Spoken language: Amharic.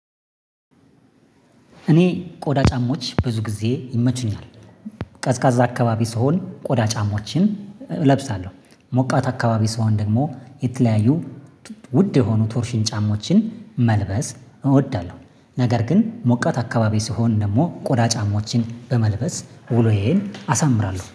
እኔ ቆዳ ጫማዎች ብዙ ጊዜ ይመቹኛል። ቀዝቃዛ አካባቢ ስሆን ቆዳ ጫማዎችን እለብሳለሁ ሞቃት አካባቢ ስሆን ደግሞ የተለያዩ ውድ የሆኑ ቶርሽን ጫማዎችን መልበስ እወዳለሁ። ነገር ግን ሞቃት አካባቢ ስሆን ደግሞ ቆዳ ጫማዎችን በመልበስ ውሎ ይሄን አሳምራለሁ